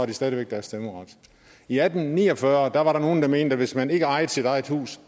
de stadig væk deres stemmeret i atten ni og fyrre var der nogle der mente at hvis man ikke ejede sit eget hus